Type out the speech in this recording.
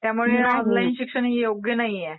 त्यामुळे ऑनलाईन शिक्षण योग्य नाहीए.